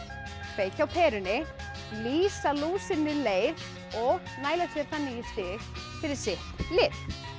kveikja á perunni lýsa lúsinni leið og næla sér þannig í stig fyrir sitt lið